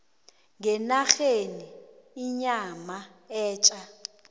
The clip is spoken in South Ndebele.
ngenarheni inyama etja